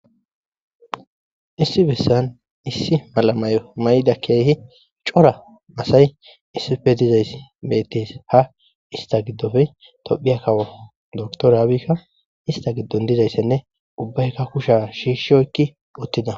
issi bessan issi malamay mayda keehi cora asay issife dizayss mettes ha ista giddofe tophiya kawo doktoraabikka ista giddon dizayssenne ubbaykka kusha shiishshoykki uttida